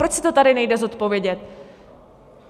Proč si to tady nejde zodpovědět?